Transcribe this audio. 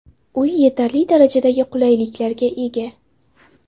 Uy yetarli darajadagi qulayliklarga ega.